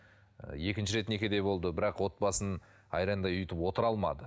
ы екінші рет некеде болды бірақ отбасын айрандай ұйытып отыра алмады